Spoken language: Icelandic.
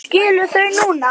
Skilur þau núna.